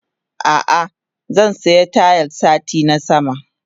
Ah ah zansiya Tayis satin sama.